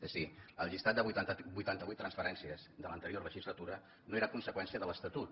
és a dir el llistat de vuitanta vuit transferències de l’anterior legislatura no era conseqüència de l’estatut